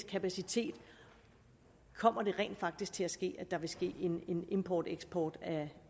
kapacitet kommer der rent faktisk til at ske en importeksport